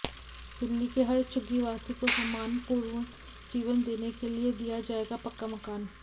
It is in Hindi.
दिल्ली के हर झुग्गीवासी को सम्मानपूर्ण जीवन देने के लिए दिया जाएगा पक्का मकान